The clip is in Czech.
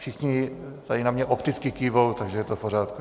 Všichni tady na mě opticky kývají, takže je to v pořádku.